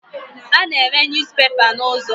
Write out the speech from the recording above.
A na-ere News papers n'ụzọ.